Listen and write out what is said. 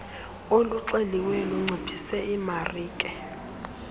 oluxeliweyo lunciphise imarike